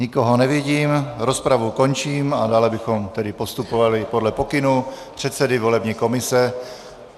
Nikoho nevidím, rozpravu končím a dále bychom tedy postupovali podle pokynů předsedy volební komise.